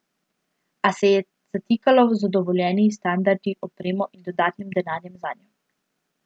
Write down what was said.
A se je zatikalo z dovoljenji, standardi, opremo in dodatnim denarjem zanjo.